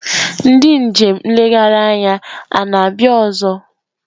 Ndị njem nlegharị anya a na-abịa ọzọ?